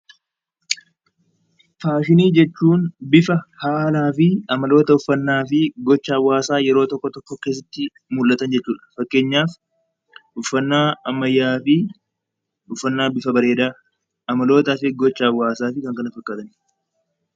Faashinii jechuun haalaa fi amaloota hawaasaa yeroo tokko tokko mul'atan jechuudha. Fakkeenyaaf, uffannaa ammayyaa fi uffannaa bifa bareedaa gocha hawaasaa fi kanneen kana fakkaatanidha